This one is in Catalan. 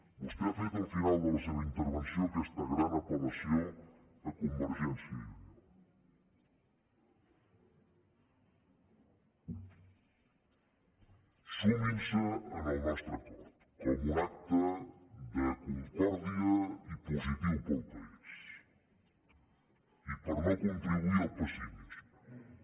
vostè ha fet al final de la seva intervenció aquesta gran apel·lació a convergència i unió suminse al nostre acord com un acte de concòrdia i positiu per al país i per no contribuir al pessimisme